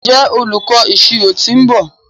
njé olùkó ìṣirò t'in nbọ?